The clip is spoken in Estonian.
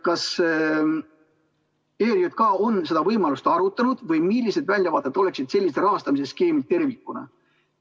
Kas ERJK on seda võimalust arutanud või millised väljavaated oleksid sellisel rahastamise skeemil tervikuna?